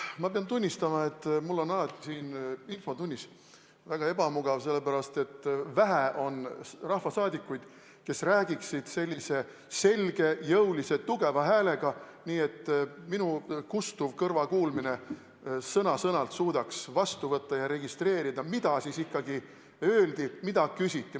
Ma pean tunnistama, et mul on alati siin infotunnis väga ebamugav olla, sellepärast, et vähe on rahvasaadikuid, kes räägiksid selge ja tugeva häälega, nii et minu kustuv kõrvakuulmine sõna-sõnalt suudaks vastu võtta ja registreerida, mida ikkagi öeldi, mida küsiti.